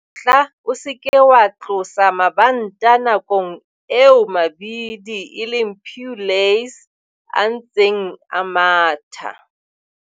Tla o se ke wa tlosa mabanta nakong eo mabidi eleng pulleys a ntseng a matha.